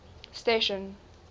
station